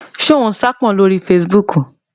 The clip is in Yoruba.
Ṣé o n saápọn lórí fesibúùkù?